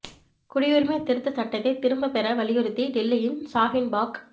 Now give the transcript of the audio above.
குடியுரிமை திருத்த சட்டத்தை திரும்ப பெற வலியுறுத்தி டில்லியின் ஷாஹீன் பாக்